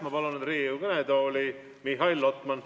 Ma palun nüüd Riigikogu kõnetooli Mihhail Lotmani.